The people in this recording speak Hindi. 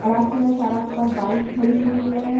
सड़क है सड़क पर बाइक खड़ी हुई है।